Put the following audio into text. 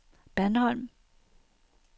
Bandholm